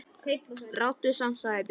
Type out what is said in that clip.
Ráddu samt, sagði Björn.